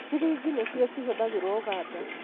Shiringi nĩcio cĩhũthagĩrwo ũganda